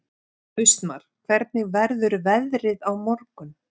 Austmar, hvernig verður veðrið á morgun?